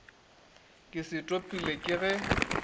ke se topilego ke ge